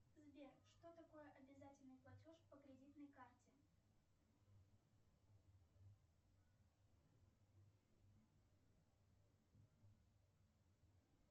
сбер что такое обязательный платеж по кредитной карте